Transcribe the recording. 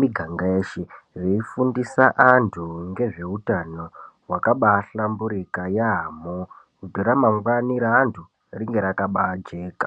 miganga yeshe veifundisa antu ngezveutano hwakabaahlamburika yaamho. Kuti ramangwani raantu ringe rakabaajeka.